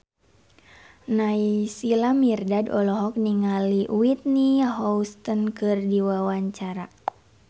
Naysila Mirdad olohok ningali Whitney Houston keur diwawancara